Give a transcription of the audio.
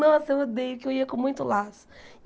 Nossa, eu odeio, porque eu ia com muito laço.